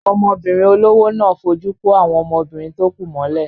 Ọmọbìnrin olówó náà fojú kó àwọn ọmọbìnrin tó kù mọ́lẹ̀.